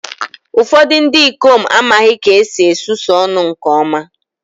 Ụfọdụ ndị ikom amaghị ka esi esusu ọnụ nke ọma